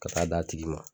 Ka taa d'a tigi ma